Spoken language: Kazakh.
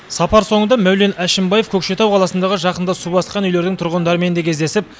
сапар соңында мәулен әшімбаев көкшетау қаласындағы жақында су басқан үйлердің тұрғындарымен де кездесіп